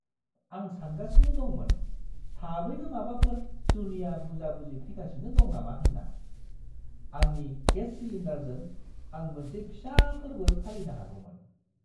आं सानगासिनो दंमोन थाबैनो माबाफोर जुनिया बुजा-बुजि फैगासिनो दं नामा होनना। आंनि गेस सिलिन्डारजों आं मोनसे फिसा फोर्बो फालिनो हागौमोन!